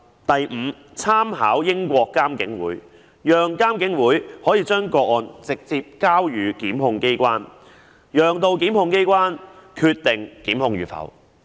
第五，參考英國監警會，讓監警會可以把個案直接交予檢控機關，由檢控機關決定檢控與否。